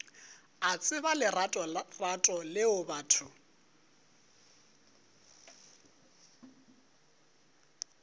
a tseba leratorato leo batho